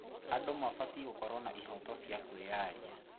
Andũ mabatiĩ gũkorwo na ihooto cia kwĩyaria.